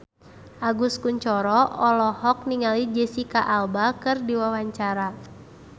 Agus Kuncoro olohok ningali Jesicca Alba keur diwawancara